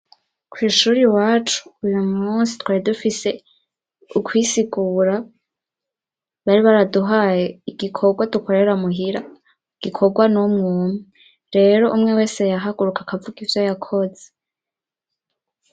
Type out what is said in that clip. Kw'ishuri wacu uyu musi twari dufise ukwisikura bari baraduhaye igikorwa dukorera muhira u gikorwa n'umwumpi rero umwe wese yahaguruka akavuga ivyo yakoze.